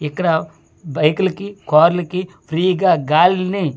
ఇక్కడ బైకులకి కార్లకి ఫ్రీ గా గాలిని.